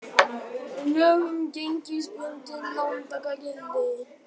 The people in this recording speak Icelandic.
Lög um gengisbundin lán taka gildi